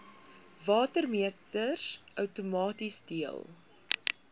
watermeters outomaties deel